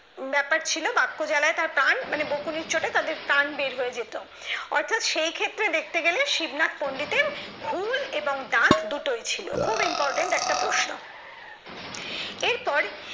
ব্যাপার ছিল বাক্য জ্বালায় তার প্রাণ বকুনির চোটে তাদের প্রাণ বের হয়ে যেত অর্থাৎ সেই ক্ষেত্রে দেখতে গেলে শিবনাথ পন্ডিতের ঘূল এবং দাঁত দুটোই ছিল খুব important একটা প্রশ্ন এরপর